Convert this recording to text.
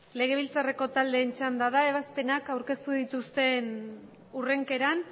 legebiltzareko talden txanda bat ebastenak aurkestu ditusten urrenkeran